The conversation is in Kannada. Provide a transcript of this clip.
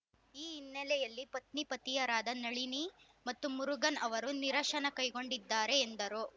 ಈ ಹಿನ್ನೆಲೆಯಲ್ಲಿ ಪತ್ನಿಪತಿಯರಾದ ನಳಿನಿ ಮತ್ತು ಮುರುಗನ್‌ ಅವರು ನಿರಶನ ಕೈಗೊಂಡಿದ್ದಾರೆ ಎಂದರು